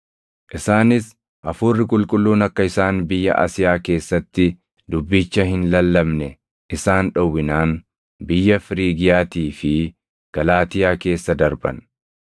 Isaanis Hafuurri Qulqulluun akka isaan biyya Asiyaa keessatti dubbicha hin lallabne isaan dhowwinaan biyya Firiigiyaatii fi Galaatiyaa keessa darban.